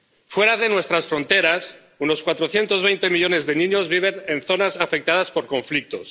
Fuera de nuestras fronteras, unos 420 millones de niños viven en zonas afectadas por conflictos.